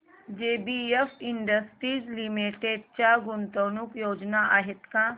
JBF Industries Limited च्या गुंतवणूक योजना आहेत का